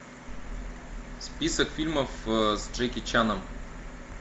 список фильмов с джеки чаном